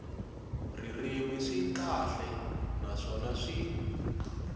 ririmi swi kahle naswona swi